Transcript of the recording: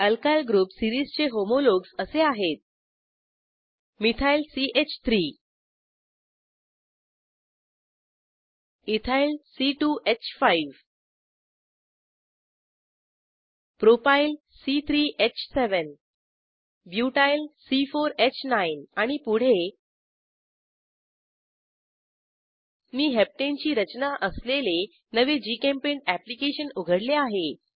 alkyl group सीरिजचे homologues असे आहेत मिथाइल च3 इथाइल c2ह5 प्रोपायल c3ह7 ब्युटाइल c4ह9 आणि पुढे मी हेप्टने ची रचना असलेले नवे जीचेम्पेंट अॅप्लिकेशन उघडले आहे